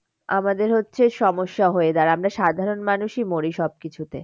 আমাদের হচ্ছে সমস্যা হয়ে যায় আমরা সাধারণ মানুষই মরি সব কিছুতে।